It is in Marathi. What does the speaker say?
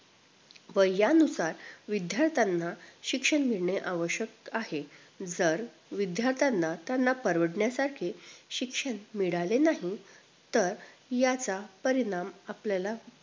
वयानुसार विद्दार्थ्यांना शिक्षण मिळणे आवश्यक आहे जर विद्द्यार्थ्यांना त्यांना परवडण्यासारखे शिक्षण मिळाले नाहीतर याचा परिणाम आपल्याला